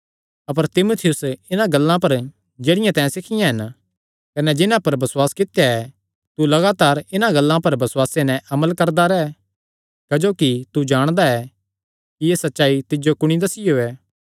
अपर तीमुथियुस इन्हां गल्लां पर जेह्ड़ियां तैं सिखियां हन कने जिन्हां पर बसुआस कित्या ऐ तू लगातार इन्हां गल्लां पर बसुआसे नैं अमल करदा रैह् क्जोकि तू जाणदा ऐ कि एह़ सच्चाई तिज्जो कुणी दस्सियो ऐ